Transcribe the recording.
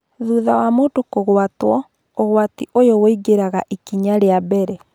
Thutha wa mũndũ kũgwatwo, ũgwati ũyũ ũingĩraga ikinya rĩa mbele